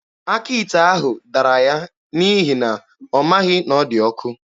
Aka ite ahụ dara ya n'ihi na ọ maghị na ọ dị ọkụ.